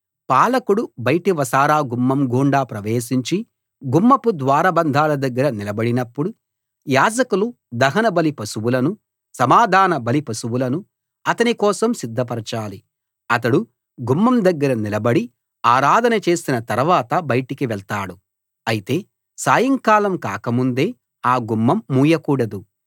పాలకుడు బయటి వసారా గుమ్మం గుండా ప్రవేశించి గుమ్మపు ద్వారబంధాల దగ్గర నిలబడినప్పుడు యాజకులు దహనబలి పశువులను సమాధానబలి పశువులను అతని కోసం సిద్ధపరచాలి అతడు గుమ్మం దగ్గర నిలబడి ఆరాధన చేసిన తరవాత బయటికి వెళ్తాడు అయితే సాయంకాలం కాక ముందే ఆ గుమ్మం మూయకూడదు